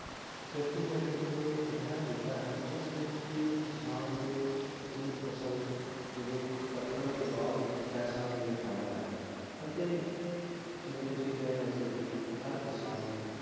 ਖੇਤੀ ਬਾੜੀ ਇੱਕ ਅਜਿਹਾ ਕੀਤਾ ਹੈ ਜਿਸ ਵਿਚ ਕੀ ਕਿਸਾਨ ਨੂੰ ਆਪਣੀ ਫਸਲ ਜਦੋਂ ਕੱਟਣ ਤੋਂ ਬਾਅਦ ਹੀ ਪੈਸਾ ਮਿਲ ਪਾਂਦਾ ਹੈ ਅਤੇ ਜਿਵੇ ਤੁਸੀਂ ਕਹਿ ਰਹੇ ਸੀ ਕੀ ਹਰ ਕਿਸਾਨ ਨੂੰ